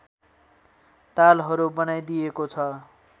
तालहरू बनाइदिएको छ